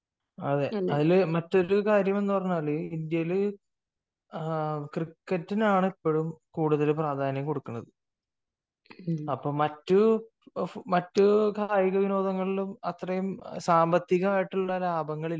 അതിൽ മറ്റൊരു കാര്യം എന്ന് പറഞ്ഞാൽ ഇന്ത്യയിൽ ക്രിക്കറ്റിനാണ് ഇപ്പോഴും കൂടുതൽ പ്രാധാന്യം കൊടുക്കുന്നത് . അപ്പൊ മറ്റു കായിക വിനോദങ്ങളിൽ അത്രയും സാമ്പത്തികമായിട്ടുള്ള ലാഭങ്ങളില്ല